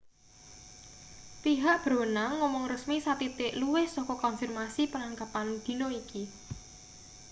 pihak berwenang ngomong resmi sathithik luwih saka konfirmasi penangkepan dina iki